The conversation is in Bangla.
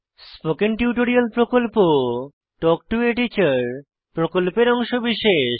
স্পোকেন টিউটোরিয়াল প্রকল্প তাল্ক টো a টিচার প্রকল্পের অংশবিশেষ